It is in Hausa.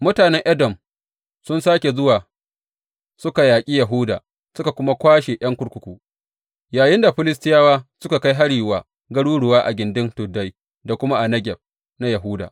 Mutanen Edom sun sāke zuwa suka yaƙi Yahuda suka kuma kwashe ’yan kurkuku, yayinda Filistiyawa suka kai hari wa garuruwa a gindin tuddai da kuma a Negeb na Yahuda.